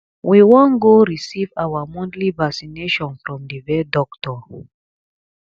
we wan go receive our monthly vaccination from the vet doctor